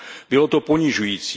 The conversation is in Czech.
Bylo to ponižující.